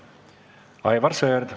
Aivar Sõerd.